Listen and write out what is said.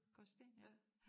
Gråsten ja